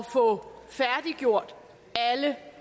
få færdiggjort alle